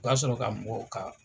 O b'a sɔrɔ ka mɔgɔw ka